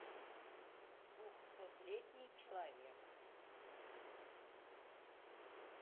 двухсотлетний человек